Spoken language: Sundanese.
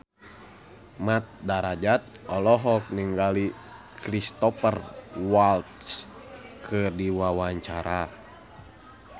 Mat Drajat olohok ningali Cristhoper Waltz keur diwawancara